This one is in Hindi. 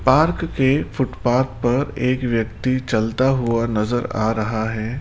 पार्क के फुटपाथ पर एक व्यक्ति चलता हुआ नज़र आ रहा है।